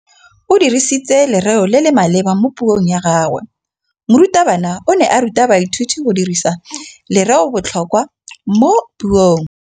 O dirisitse lerêo le le maleba mo puông ya gagwe. Morutabana o ne a ruta baithuti go dirisa lêrêôbotlhôkwa mo puong.